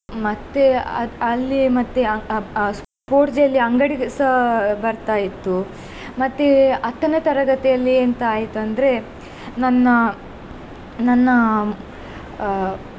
ಮತ್ತೆ ಆ ಅಲ್ಲಿ ಮತ್ತೆ ಆ ಆ ಆ sports day ಯಲ್ಲಿ ಅಂಗಡಿಸ ಬರ್ತಾ ಇತ್ತು. ಮತ್ತೆ ಹತ್ತನೇ ತರಗತಿಯಲ್ಲಿ ಎಂತ ಆಯ್ತು ಅಂದ್ರೆ ನನ್ನ ನನ್ನ ಅಹ್.